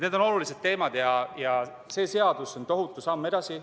Need on olulised teemad ja see seadus on tohutu samm edasi.